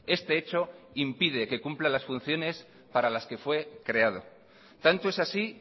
este hecho impide que cumpla las funciones para las que fue creado tanto es así